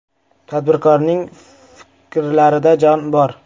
Tadbirkorning fikrlarida jon bor.